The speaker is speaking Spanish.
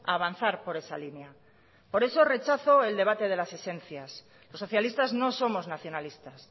a avanzar por esa línea por eso rechazo el debate de las esencias los socialistas no somos nacionalistas